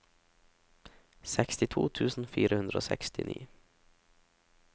sekstito tusen fire hundre og sekstini